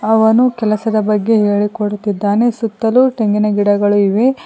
ಅವನು ಕೆಲಸದ ಬಗ್ಗೆ ಹೇಳಿಕೊಡುತ್ತಿದ್ದಾನೆ ಸುತ್ತಲೂ ತೆಂಗಿನ ಗಿಡಗಳು ಇವೆ.